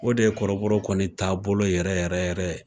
O de ye kɔrɔbɔrɔ kɔni taabolo yɛrɛ yɛrɛ yɛrɛ